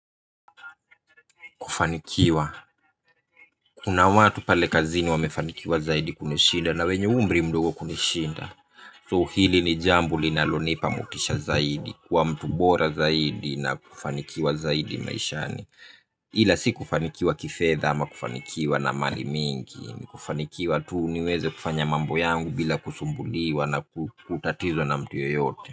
Kufanikiwa, kuna watu pale kazini wamefanikiwa zaidi kunishinda na wenye umri mdogo kunishinda. So, hili ni jambo linalonipa motisha zaidi, kuwa mtu bora zaidi na kufanikiwa zaidi maishani ila si kufanikiwa kifedha ama kufanikiwa na mali mingi, ni kufanikiwa tu niweze kufanya mambo yangu bila kusumbuliwa na kutatizwa na mtu yoyote.